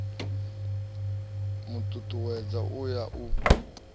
mu tutuwedza u ya u